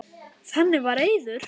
Þannig var Eiður.